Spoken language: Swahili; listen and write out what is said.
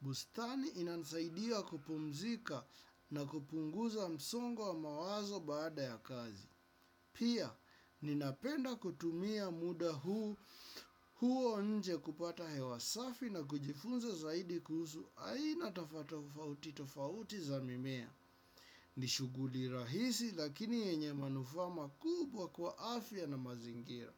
Bustani inansaidia kupumzika na kupunguza msongwa wa mawazo baada ya kazi. Pia, ninapenda kutumia muda huo nje kupata hewa safi na kujifunza zaidi kuhusu. Aina tafatofauti tofauti za mimea. Nishughuli rahisi lakini yenye manufaa makubwa kwa afya na mazingira.